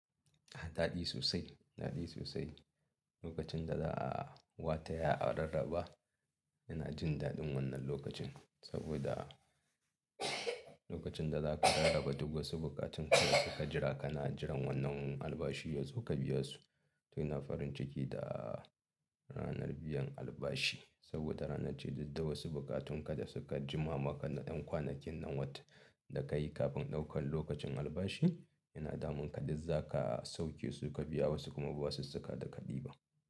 Ah, daɗi sosai, daɗi sosai. Lokacin da za a wata ya a rarraba, yana jin daɗin wannan lokacin. Saboda lokacin da zaka rarraba duk wasu bukatun ka da suka jira, kana jiran wannan albashi yazo ka biya su. To ina farin ciki da ranar biyan albashi. Saboda ranar ce duk wasu bukatun ka da suka jima ma ka ɗan kwanakin nan wata da ka yi kafin ɗaukan lokacin albashi, yana damun ka, duk zaka sauke su ka biya wasu kuma ba wasu basusuka da ka ɗiba.